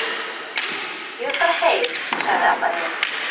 Ég vil fara heim, sagði Abba hin.